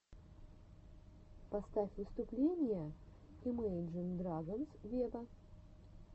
поставь выступления имейджин драгонс вево